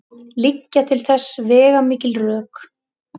Liggja til þess veigamikil rök.